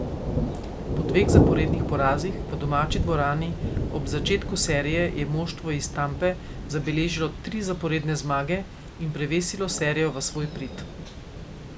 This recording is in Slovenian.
Po dveh zaporednih porazih v domači dvorani ob začetku serije je moštvo iz Tampe zabeležilo tri zaporedne zmage in prevesilo serijo v svoj prid.